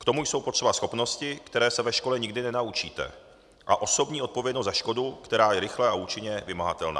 K tomu jsou potřeba schopnosti, které se ve škole nikdy nenaučíte, a osobní odpovědnost za škodu, která je rychle a účinně vymahatelná.